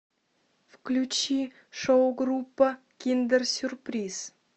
включи шоу группа киндер сюрприз